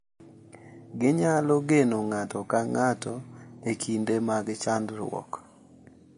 Ginyalo geno ng’ato ka ng’ato e kinde mag chandruok, .